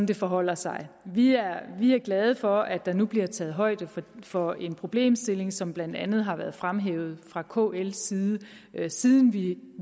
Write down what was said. det forholder sig vi er glade for at der nu bliver taget højde for en problemstilling som blandt andet har været fremhævet fra kls side siden vi